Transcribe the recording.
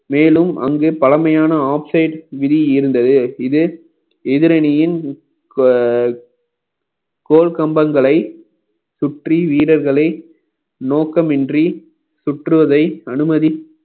மேலும் அங்கு பழமையான oxide விதி இருந்தது இது எதிரணியின் கோ~ கோள் கம்பங்களை சுற்றி வீரர்களை நோக்கமின்றி சுற்றுவதை அனுமதி